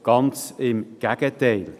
ganz im Gegenteil.